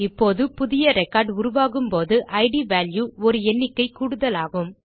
இப்போது புதிய ரெக்கார்ட் உருவாகும்போது இட் வால்யூ ஒரு எண்ணிக்கை கூடுதலாகும்